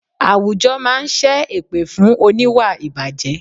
Àwùjọ máa ń sẹ́ èpè fún oníwà ìbàjẹ́